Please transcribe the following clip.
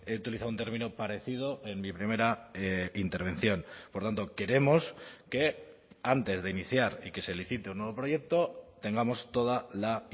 utilizado un término parecido en mi primera intervención por tanto queremos que antes de iniciar y que se licite un nuevo proyecto tengamos toda la